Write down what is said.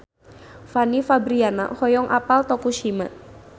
Fanny Fabriana hoyong apal Tokushima